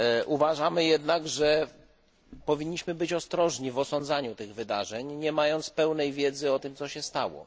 Uważamy jednak, że powinniśmy być ostrożni w osądzaniu tych wydarzeń, nie mając pełnej wiedzy o tym, co się stało.